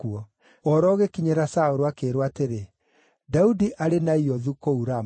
Ũhoro ũgĩkinyĩra Saũlũ, akĩĩrwo atĩrĩ, “Daudi arĩ Naiothu, kũu Rama”;